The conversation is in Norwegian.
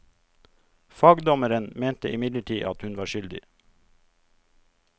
Fagdommeren mente imidlertid at hun var skyldig.